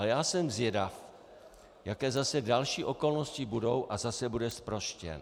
Ale já jsem zvědav, jaké zase další okolnosti budou, a zase bude zproštěn.